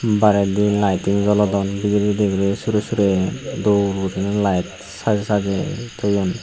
baredi lighting jolodon dibirey dibirey surey surey dol guriney layed sajey sajey toyon.